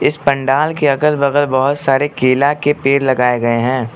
इस पंडाल के अगल बगल बहोत सारे केला के पेड़ लगाए गए हैं।